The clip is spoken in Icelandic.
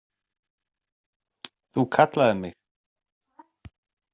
Þú kallaðir mig?